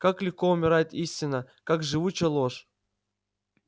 как легко умирает истина как живуча ложь